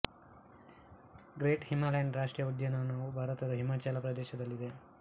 great Himalayan ರಾಷ್ಟ್ರೀಯ ಉದ್ಯಾನವು ಭಾರತದ ಹಿಮಾಚಲ ಪ್ರದೇಶ ರಾಜ್ಯದಲ್ಲಿದೆ